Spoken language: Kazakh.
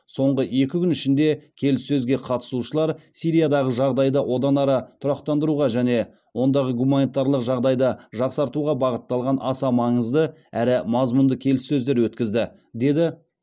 соңғы екі күн ішінде келіссөзге қатысушылар сириядағы жағдайды одан ары тұрақтандыруға және ондағы гуманитарлық жағдайды жақсартуға бағытталған аса маңызды әрі мазмұнды келіссөздер өткізді деді